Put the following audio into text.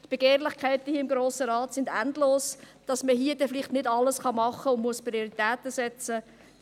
die Begehrlichkeiten hier im Grossen Rat sind endlos, sodass man hier nicht alles machen kann und Prioritäten setzen muss.